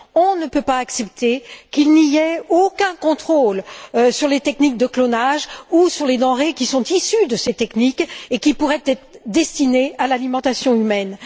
On ne peut pas accepter qu'il n'y ait aucun contrôle sur les techniques de clonage ou sur les denrées qui sont issues de ces techniques et qui pourraient être destinées à l'alimentation humaine.